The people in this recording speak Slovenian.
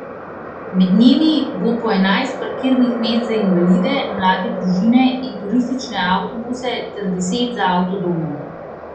Med njimi bo po enajst parkirnih mest za invalide, mlade družine in turistične avtobuse ter deset za avtodome.